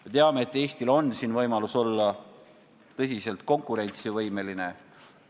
Me teame, et Eestil on siin võimalus olla tõeliselt konkurentsivõimeline.